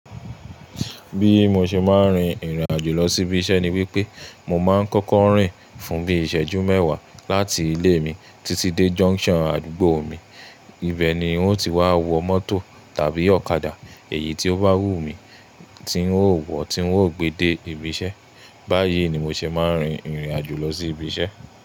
Bí mo ṣe máa ń rin ìrìn àjò lọ sí ibi iṣẹ́ ni wípé, mo máa ń kọ́kọ́ rìn fún bí iṣẹ́jú mẹ́wàá láti ilé mi títí dé junction àdúgbò mi. Ibẹ̀ ni wọn ó ti wá wọ mọ́tò tàbí ọ̀kadà, èyí tí ó bá wù mí tí ń ó wọ̀, tí ń ó gbe de ibi iṣẹ́. Báyìí ni mo ṣe máa ń rin ìrìn àjò lọ sí ibi iṣẹ́.